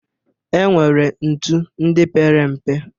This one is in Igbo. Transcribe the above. E nwere ntu ndị pere mpe.